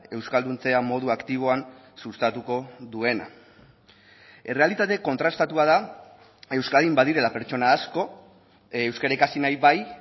euskalduntzea modu aktiboan sustatuko duena errealitate kontrastatua da euskadin badirela pertsona asko euskara ikasi nahi bai